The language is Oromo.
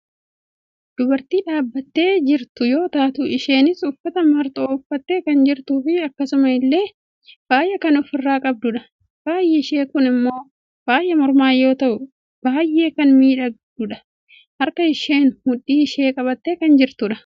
dubartii dhaabbattee jirtu yoo taatu isheenis uffata marxoo uffattee kan jirtuufi akkasuma illee faaya kan ofirraa qabdudha. Faayi ishee kun ammoo faaya mormaa yoo ta'u baayyee kan miidhagudha. harka isheen mudhii ishee qabattee kan jirtudha.